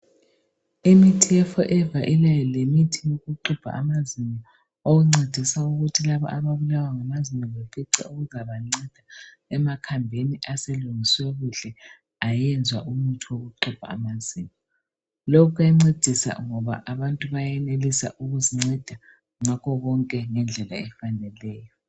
Imithi yeForever ilayo lemithi yokuxubha amazinyo okuncedisa ukuthi labo ababulawa ngamazinyo bafice okuzabanceda emakhambini aselungiswe kuhle ayenzwa umuthi wokuxubha amazinyo. Lokhu kuyancedisa ngoba abantu bayenelisa ukuzinceda ngakho konke ngendlela efaneleyo.